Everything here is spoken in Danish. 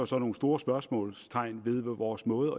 så nogle store spørgsmålstegn ved vores måde